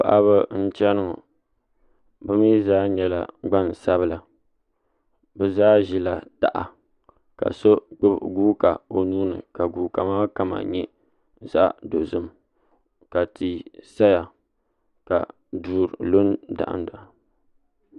Paɣiba n chɛni ŋɔ bimi zaa nyɛla gbansabila bi zaa zila taha ka so gbubi guuka o nuuni ka guuka maa kama yɛ zaɣi dozim ka tia saya ka duu lu n dahim fahim.